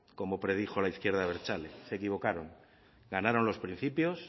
como predijo la izquierda abertzale se equivocaron ganaron los principios